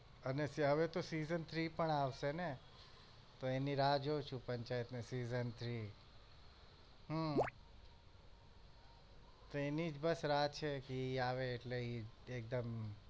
અને હવે તો season three પણ આવશે ને તો એની રાહ જોઉં છુ પંચાયત season three હમ તો એની જ બસ રાહ છે કે આવે એટલે એકદમ